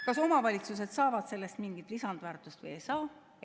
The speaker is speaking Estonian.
Kas omavalitsused saavad sellest mingit lisandväärtust või ei saa?